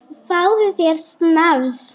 Fáðu þér snafs!